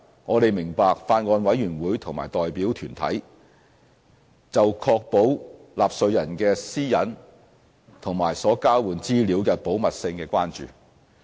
我們明白，法案委員會及代表團體就確保納稅人的私隱和所交換資料的保密事宜的關注。